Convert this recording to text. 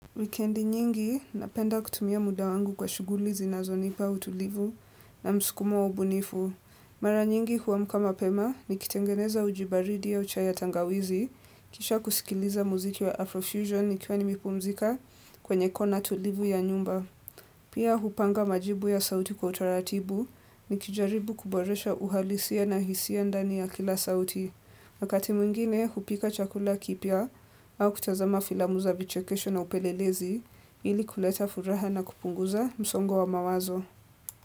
Wikendi nyingi, napenda kutumia muda wangu kwa shughuli zinazonipa utulivu na msukumo wa ubunifu. Mara nyingi huamka mapema, nikitengeneza uji baridi au chai ya tangawizi, kisha kusikiliza muziki wa Afrofusion nikiwa nimepumzika kwenye kona tulivu ya nyumba. Pia, hupanga majibu ya sauti kwa utaratibu, nikijaribu kuboresha uhalisia na hisia ndani ya kila sauti. Wakati mwingine hupika chakula kipya au kutazama filamu za vichekesho na upelelezi ili kuleta furaha na kupunguza msongo wa mawazo.